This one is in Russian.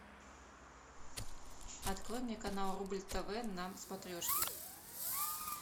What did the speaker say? открой мне канал рубль тв на смотрешке